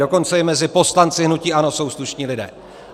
Dokonce i mezi poslanci hnutí ANO jsou slušní lidé.